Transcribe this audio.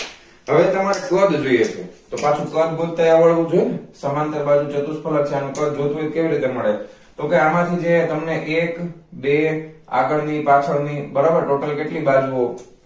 હવે તમારે કદ જોઈએ છે તો હવે પાછું કદ ગોતતા એય આવડવું જોઈએ ને સમાંતર બાજુ ચતુષ્કોણ એટલે આનુ કદ કઈ રીતે મળે તો કે આમાંથી તમને એક બે આગળની પાછળ ની બરોબર total કેટલી બાજુ ઓ